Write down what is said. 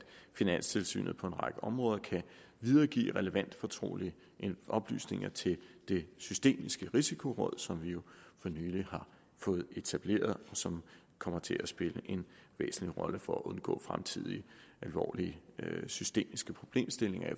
finanstilsynet på en række områder kan videregive relevante fortrolige oplysninger til det systemiske risikoråd som vi jo for nylig har fået etableret og som kommer til at spille en væsentlig rolle for at undgå fremtidige alvorlige systemiske problemstillinger i